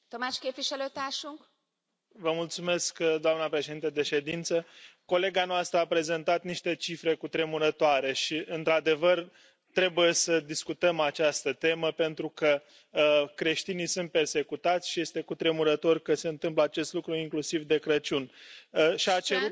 Doamnă președintă de ședință, colega noastră a prezentat niște cifre cutremurătoare și, într adevăr, trebuie să discutăm această temă pentru că creștinii sunt persecutați și este cutremurător că se întâmplă acest lucru, inclusiv de Crăciun, și a cerut acțiuni ferme din partea Uniunii Europene.